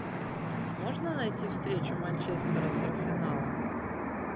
можно найти встречу манчестера с арсеналом